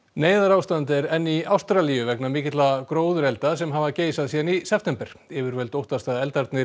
neyðarástand er enn í Ástralíu vegna mikilla gróðurelda sem hafa geisað síðan í september yfirvöld óttast að eldarnir